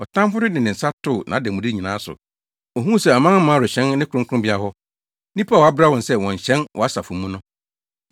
Ɔtamfo no de ne nsa too nʼademude nyinaa so; ohuu sɛ amanaman rehyɛn ne kronkronbea hɔ, nnipa a woabra sɛ wɔnnhyɛn wʼasafo mu no.